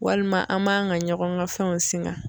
Walima an man ka ɲɔgɔn ka fɛnw singa.